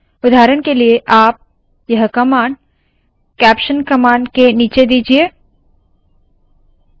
उदाहरण के लिए आप यह कमांड कैप्शन कमांड के नीचे दीजिए